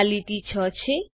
આ લીટી 6 છે